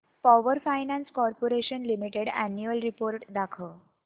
power finance corporation limited annual report दाखव